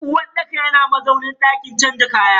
uwarɗaka yana mazaunin dakin canza kaya.